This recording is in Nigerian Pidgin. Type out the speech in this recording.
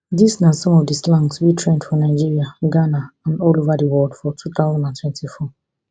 dis na some of di slangs wey trend for nigeria ghana and all ova di world for two thousand and twenty-four